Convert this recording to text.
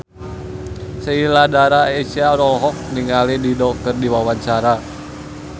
Sheila Dara Aisha olohok ningali Dido keur diwawancara